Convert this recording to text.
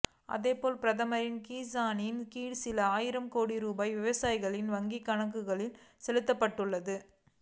அதேபோல் பிரதமரின் கிசானின் கீழ் சில ஆயிரம் கோடி ரூபாய் விவசாயிகளின் வங்கிக் கணக்குகளுக்கு செலுத்தப்பட்டுள்ளது